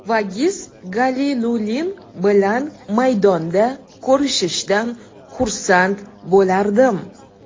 Vagiz Galilulin bilan maydonda ko‘rishishdan xursand bo‘lardim.